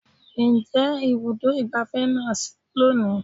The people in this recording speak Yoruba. Ǹjẹ́ Ibùdó ìgbáfẹ́ na sí lónìí?